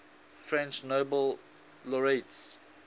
french nobel laureates